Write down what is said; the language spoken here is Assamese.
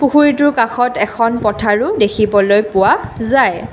পুখুৰীটোৰ কাষত এখন পথাৰো দেখিবলৈ পোৱা যায়।